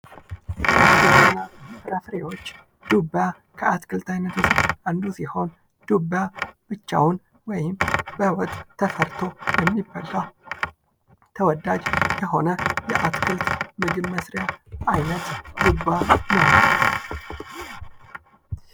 አትክልትና ፍራፍሬዎች ዱባ ከአትክልት አይነቶች አንዱ ሲሆን ብቻውን ወይም በወጥ ተሰርቶ የሚበላ ወይም ተወዳጅ የሆነ ምግብ መስሪያ ዓይነት ዱባ ነው።